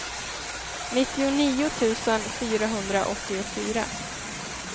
nittionio tusen fyrahundraåttiofyra